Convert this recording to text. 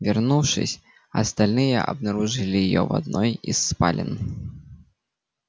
вернувшись остальные обнаружили её в одной из спален